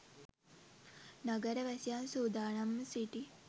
නගර වැසියන් සූදානම්ව සිටි